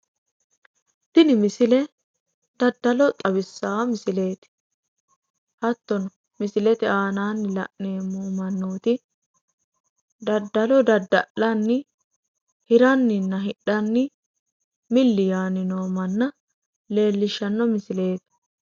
tini misile dadalo xawissaa misileeti hattono misilte aanaanni la'neemmo mannooti dadalo dada'lanni hiranninna hidhanni milli yaanni noo manna leellishshanno misileeti.